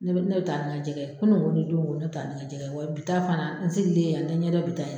Ne bi taa ni kɛ jɛgɛ ye n kunugo ni dongo ne bi taa ni n kɛ jɛgɛ ye wa bi ta fana n sigilen ye y'a n tɛ ɲɛ dɔn bi ta in na.